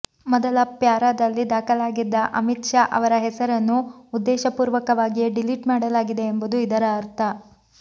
ಮೊದಲ ಪ್ಯಾರಾದಲ್ಲಿ ದಾಖಲಾಗಿದ್ದ ಅಮಿತ್ ಶಾ ಅವರ ಹೆಸರನ್ನು ಉದ್ದೇಶಪೂರ್ವಕವಾಗಿಯೇ ಡಿಲಿಟ್ ಮಾಡಲಾಗಿದೆ ಎಂಬುದು ಇದರ ಅರ್ಥ